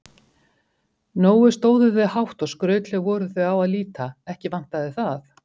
Nógu stóðu þau hátt og skrautleg voru þau á að líta, ekki vantaði það.